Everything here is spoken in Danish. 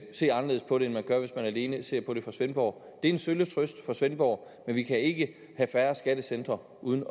se anderledes på det end man gør hvis man alene ser på det fra svendborg det er en sølle trøst for svendborg men vi kan ikke have færre skattecentre uden